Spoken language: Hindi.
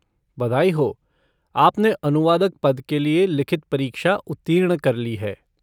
बधाई हो! आपने अनुवादक पद के लिए लिखित परीक्षा उत्तीर्ण कर ली है।